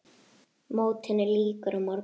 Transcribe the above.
Mótinu lýkur á morgun.